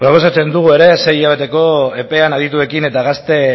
gero esaten dugu ere sei hilabeteko epean adituekin eta gazte